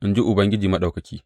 in ji Ubangiji Maɗaukaki.